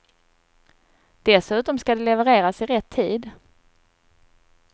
Dessutom ska det levereras i rätt tid.